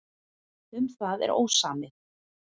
Um það er ósamið.